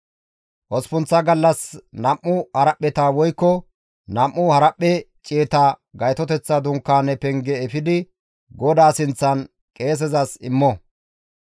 Osppunththa gallas nam7u haraphpheta woykko nam7u haraphphe ciyeta Gaytoteththa Dunkaane penge efidi GODAA sinththan qeesezas immo.